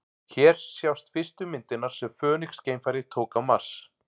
Hér sjást fyrstu myndirnar sem Fönix-geimfarið tók á Mars.